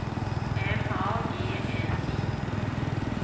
M A G N I